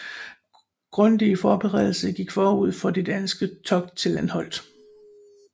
Grundige forberedelser gik forud for det danske togt til Anholt